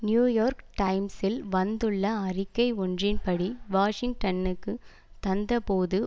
new York டைம்ஸில் வந்துள்ள அறிக்கை ஒன்றின்படி வாஷிங்டனுக்கு தந்தபோது